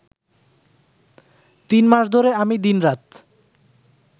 তিন মাস ধরে আমি দিনরাত